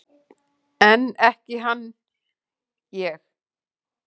En ekki hann ég!